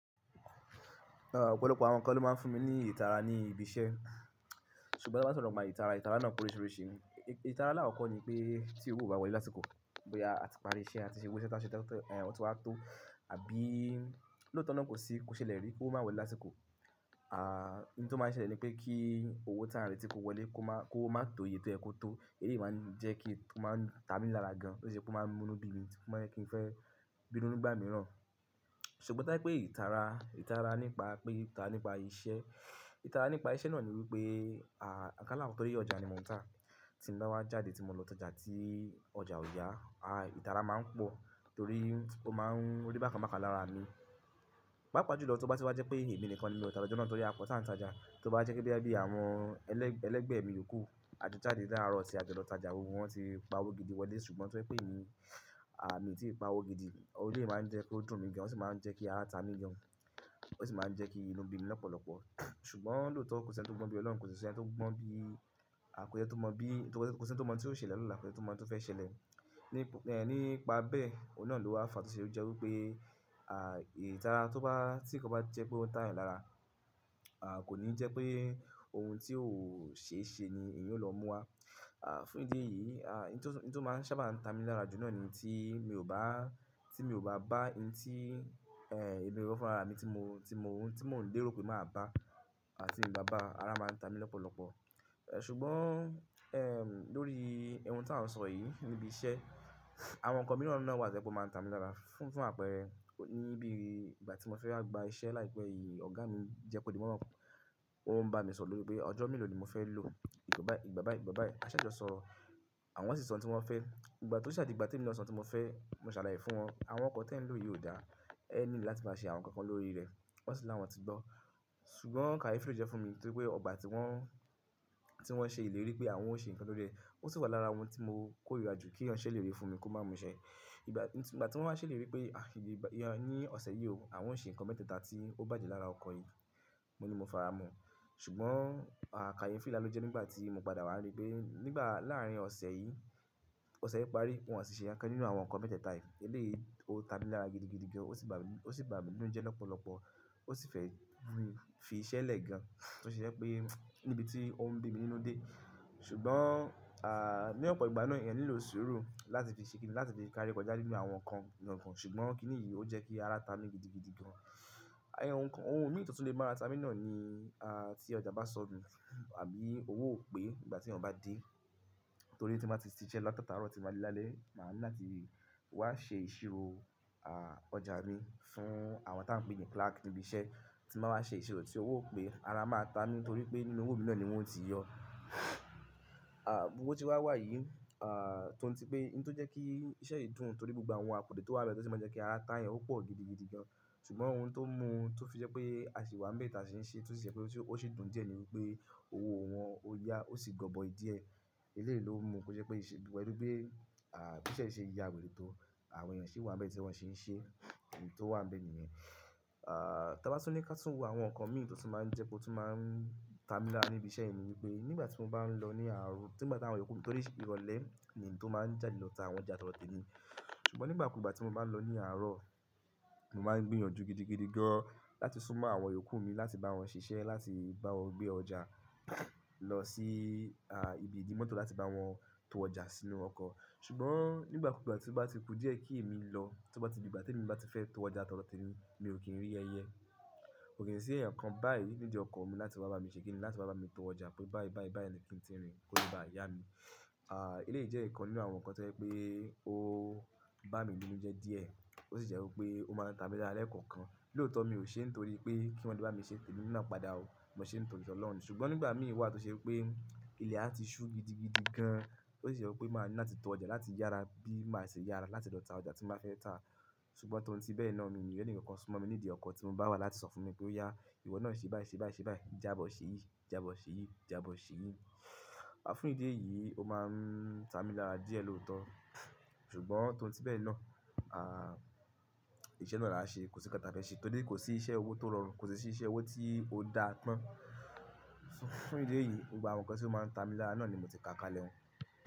Ọ̀pọ̀lọpọ̀ àwọn ǹkan ló máa ń fún mi ní ìtara ní ibi iṣẹ́, ṣùgbọ́n tí wọ́n bá n sọ̀rọ̀ nípa ìtara, ìtara náà pe oríṣiríṣi. Ìtara alakoko ni pé tí owó kò bá wọlé lásìkò, bóyá a ti parí iṣẹ́ àti ṣe gbogbo iṣẹ́ tí a ṣe ti wá tó àbí lóòótọ́ náà kò sí, kò ṣẹlẹ̀ rí, owó máa wọlé lásìkò. À, ohun tí ó máa ń ṣẹlẹ̀ ni pé kí owó táǹ rètí kò wọlé kó máa, kówo má toye tó yẹ̀ kó tó. Èyí máa ń jẹ́ kí ó máa ń ta mi lára gan, ó sì ṣe pé ó máa ń mú nu bí mi, ó máa ń jẹ́ kí n fẹ́ bínú nígbà mìíràn. Ṣùgbọ́n tó ba je pé ìtara, ìtara nípa pé ìtara nípa iṣẹ́, ìtara nípa iṣẹ́ náà ni wípé, à, kan là won tọ̀ rí ọjà ni mò ń tà. Tí n bá wá jáde tí mo lọ tájà tí ọjà ò yá, à, ìtara máa ń pọ̀ torí ó máa ń rí bákan bákan lára mi. Paapaa jùlọ tí ó bá ti wá jẹ́ pé èmi nìkan ni mi o tá lojọ́o nà, tó rí a pọ tán tajà. Tí ó bá jẹ́ pe boya bí i àwọn ẹlẹgbẹ́ mi yòókù a jọ jáde láàárọ̀ ti a jọ lọ ta ọjà, gbogbo wọn ti pa owó gidi wọlé ṣùgbọ́n tó jẹ pé mi, mi tí ì pa òwo gidi, o máa ń jẹ́ kó dùn mí gan, ó sì máa ń jẹ́ kí ara ta mi gan, ó sì máa ń jẹ́ kí inú bí mi lọ́pọ̀lọpọ̀. Ṣùgbọ́n lóòótọ́ kò sí ẹni tó gbọn bí Ọlọ́run kò sí si ẹni tí ó mọ̀ bí, kò sí ẹni ti o mọ̀ bí, kò sí ẹni tó mọ̀ bí tí ó ṣẹlẹ̀ lọ̀la, kò sí ẹni tó mọ̀ ohun tí ó fẹ́ ṣẹlẹ̀. Nípa bẹ́ẹ̀, ohun náà ló wá fàá tó ṣe jẹ́ wípé, ìtara to ba--tí n kan bá jẹ́ pé ó ń táayàn lára, kò ní jẹ́ pé ohun tí ò ṣeéṣe ni èeyan ó lọ mú wá. Fún ìdí èyí, oun tí ó máa ń sábà ta mi lára jù náà ni tí mi ò bá, tí mi ò bá bá oun tí, èmi gangan fún rara mi tí mo, tí mo oun ti mo n lè rọ pé máa bá ti n bá bá, ara máa ń ta mi lọ́pọ̀lọpọ̀. Ṣùgbọ́n, lórí ohun tà ń sọ yìí níbi iṣẹ́, àwọn ǹkan mìíràn náà wà tó je pe o máa ń ta mi lára fun--fún àpẹẹrẹ, níbi ìgbà tí mo fẹ́ wá gba iṣẹ́ láìpẹ́ yìí, ọ̀gá mi jẹ́ kó di mimọ́, ó ń bá mi sọ̀rọ̀ lórí pé ọjọ́ mélòó ni mo fẹ́ lò. Ìgbà bá yìí, ìgbà bá yìí, a ṣàjọ sọ̀rọ̀ àwọn sì sọ ohun tí wọ́n fẹ́. Ìgbà to ó sa digbà te mi náà sọ ohun tí mo fẹ́, mo ṣàlàyé fún wọn, àwọn oko tẹ̀ ń lò yìí ò dá, ẹ need láti máa ṣe àwọn ǹkan kan lórí rẹ̀. Won si ti lawon ti gbo. Ṣùgbọ́n kàyefi ló jẹ́ fún mi torí pé ọgbà tí wọ́n, tí wọ́n ṣe ìlérí pé àwọn ó ṣe ǹkan lórí e, ó sì wà lára oun tí mo kórìíra jù k'eeyan ṣe lérí fún mi kó máa mú ṣẹ́. Ìgbà tí wọ́n wá ṣelérí pé, ní ọ̀sẹ̀ yìí o, àwọn ó ṣe ǹkan mẹ́tẹ̀ẹ̀ta tí ó bàjẹ́ lára ọkọ̀ yìí, mo ní mo faramọ̀. Ṣùgbọ́n, kàyefi nlà ló jẹ́ nígbà tí mo padà wá rí pé nígbà láàárín ọ̀sẹ̀ yìí, ọ̀sẹ̀ yìí parí, wọ́n si ṣe nkan kan nínú àwọn ǹkan mẹ́tẹ̀ẹ̀ta yìí. Èleyí, ó ta mi lára gidigidi gan, o si bami n--ó sì bà mí n'nújẹ́ lọ́pọ̀lọpọ̀, ó sì fẹ́ mu mi fi iṣẹ́ lẹ́ gan, tó se je pé níbi tí ó ń bí mi nínú dé. Ṣùgbọ́n, ní ọ̀pọ̀ ìgbà náà èèyàn nílò sùúrù láti fi ṣe kìn-ín, láti fi kárí kọjá nínú àwọn ǹkan kan. Ṣùgbọ́n kí nìyí ó jẹ́ kí ara ta mi gidigidi gan. Ohun mìí tó tun lè mára ta mi náà ni, tí ọjà bá sọnù àbí owó ò pé nìgbà t'eeyan bá dé. Torí ti n ba ti sise lo la taataaro ti n ba de lálẹ́, ma ni láti wa se ìṣirò ọjà mi fún àwọn ta n pe ni clerk nibi iṣẹ́. Ti n ba wa se ìṣirò ti owo o pe, ara a maa tami torí pe nínú owo náà ni won o ti yo. Gbogbo bo tí wà yìí, tòun ti pé oun tó jẹ́ kí iṣẹ́ yìí dùn torí gbogbo àwọn àkude tó wà n bẹ́ẹ̀ tó sì máa ń jẹ́ kí ara t'àayàn ó pọ̀ gidigidi gan. Ṣùgbọ́n ohun tó mú, tó fi jẹ́ pé a sì wá ń bẹ̀ ta ṣi n ṣe, tun ṣe ni pé ó sì dùn díẹ̀ ni wípé owó wọn ó yá, ó sì gọbọ́i díẹ̀. Èleyí ló mú kó je pé ìṣe pẹ̀lú bi, bí iṣẹ́ yen ṣe ya wèrè tó àwọn eẹ̀yàn ṣi wà ń bẹ́ẹ̀ tí wọn ṣi ń ṣe oun tó wà ń bẹ́ẹ̀ nìyẹn. Ta bá tun ní ka tún wo àwọn ǹkan mìí tó tun máa ń jẹ́ kó tun máa ń ta mi lára níbi iṣẹ́ mí ni wípé nígbà tí mo bá ń lọ ní àárọ̀, tígbà t'awọn yòókù--torí ìrọ̀lẹ́ ni n tó máa ń jáde lọ ta àwọn ọjà tó do tẹ́mi. Ṣùgbọ́n nígbà kúùgbà tí mo bá ń lọ ní àárọ̀, mo máa ń gbìyànjú gidigidi gan láti súnmọ́ àwọn yòókù mi láti bá wọn ṣiṣẹ́ láti bá wọn gbé ọjà lọ sí, ibi ìdí mọ́tò láti bá wọn to ọjà sínú ọkọ̀. Ṣùgbọ́n nígbà kúùgbà tí ó bá ti ku díẹ̀ kí èmi lọ, tó bá ti di ìgbà t'èmi bá ti fẹ́ to ọjà tó do tẹ́mi, mi ò kí ń rí ẹyẹ. Ko ki n si eeyan kan báyìí nidi oko mii, láti wa ba mi se kini láti wa bami to ọjà mi, pe bayi bayi bayi ni ki n ti rin ko le ba ya mi. Eleyí jẹ́ ǹkan nínú àwọn ǹkan tó jẹ́ pé ó bá mi nínú jẹ́ díẹ̀, ó sì jẹ́ wípé ó máa ń ta mi lára lẹ́ẹ̀kọ̀kan. Lóòótọ́ mi ò ṣe n torí pé kí wọn le bá mi ṣe temi naá padà o. Mo ṣe é nítorí t'Ọlọ́run ni. Ṣùgbọ́n nígbà mìí wà tó ṣe wipé, ilẹ̀ á ti ṣú gidigidi gan, ó sì je pé màá ní láti to ọjà láti yára bí màá ṣe yára láti lọ ta ọjà tí n bá fẹ́ ta. Ṣùgbọ́n tòun tí bẹ́ẹ̀ náà, mi i ni r'ènì kànkan súnmọ́ mi nídìí ọkọ̀ tí mo bá wá láti sọ fún mi pé ó yá, ìwọ náà ṣe báyìí, ṣe báyìí, ṣe báyìí, jaábọ̀ ṣe yìí, jáabọ̀ ṣe yìí, jáabọ̀ ṣe yìí. Fún ìdí èyí, ó máa ń ta mi lára díẹ̀ lóótọ́. Ṣùgbọ́n tòun tí be náà, iṣẹ́ náà la a se, ko si nkan ta fe se, torí ko si iṣẹ́ owo to rọrùn, kosi si iṣẹ́ owo ti o daa tan. Fún idi èyí, gbogbo àwọn nkan to ma n ta mi laara náà ni mo ti ka kalẹ̀ un.